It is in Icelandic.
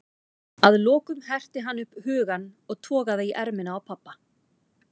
Að lokum herti hann upp hugann og togaði í ermina á pabba.